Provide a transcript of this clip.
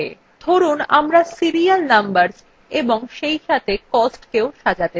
ধরুন আমরা serial numbers এবং সেইসাথে costকেও সাজাতে চাই